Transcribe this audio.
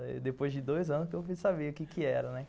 Aí, depois de dois anos, que eu fiz saber o que que era, né?